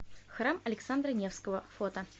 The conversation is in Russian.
храм александра невского фото